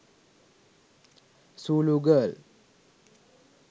zulu girl